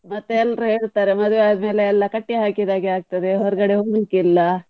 ಮತ್ತೆ ಎಲ್ರೂ ಹೇಳ್ತಾರೆ ಮದುವೆ ಆದ್ಮೇಲೆ ಎಲ್ಲ ಕಟ್ಟಿ ಹಾಕಿದ ಹಾಗೆ ಆಗ್ತದೆ ಹೊರಗಡೆ ಹೋಗ್ಲಿಕ್ಕೆ ಇಲ್ಲ.